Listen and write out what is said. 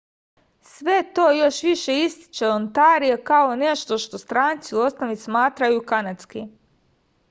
sve to još više ističe ontario kao nešto što stranci u osnovi smatraju kanadskim